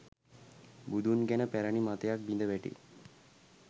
බුදුන් ගැන පැරැණි මතයක් බිඳ වැටේ